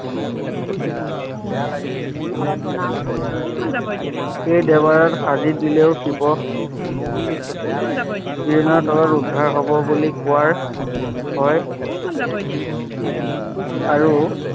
এই দুৱাৰত সাজি দিলেও শিৱ তলত উদ্ধাৰ হব বুলি কোৱা হয় আৰু